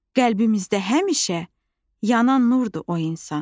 qəlbimizdə həmişə yanan nurdur o insan.